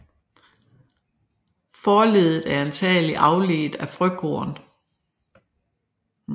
Forleddet er antagelig afledt af frøkorn